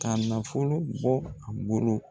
K'a nafolo bɔ u bolo.